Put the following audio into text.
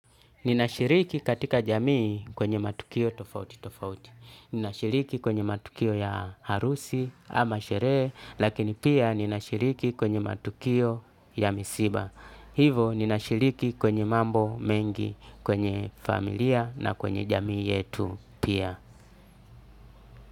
Ninashiriki katika jamii kwenye matukio tofauti tofauti. Ninashiriki kwenye matukio ya harusi ama sherehe lakini pia ninashiriki kwenye matukio ya misiba. Hivo ninashiriki kwenye mambo mengi kwenye familia na kwenye jamii yetu pia.